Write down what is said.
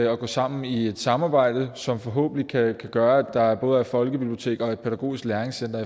at gå sammen i et samarbejde som forhåbentlig kan gøre at der både er folkebiblioteker og pædagogiske læringscentre